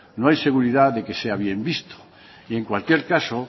no hay seguridad de que sea bien visto en cualquier caso